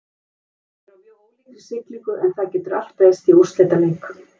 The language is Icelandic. Liðin eru á mjög ólíkri siglingu en það getur allt breyst í úrslitaleik.